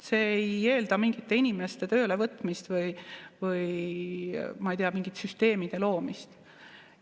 See ei eelda mingite inimeste töölevõtmist, või ma ei tea, mingite süsteemide loomist.